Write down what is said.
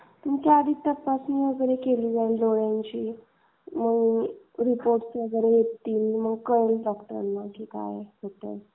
तुमची आधी तपासणी वगैरे केली जाईल डोळ्यांची मग रिपोर्ट येतील. मग कळेल डॉक्टरांना काय आहे?